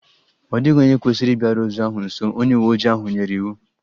Ọ dịghị onye kwesịrị ịbịaru ozu ahụ nso! Onye uwe ojii ahụ nyere iwu